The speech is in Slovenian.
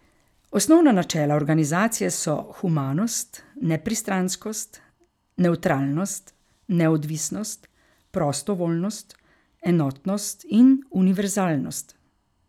Osnovna načela organizacije so humanost, nepristranskost, nevtralnost, neodvisnost, prostovoljnost, enotnost in univerzalnost.